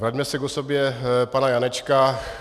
Vraťme se k osobě pana Janečka.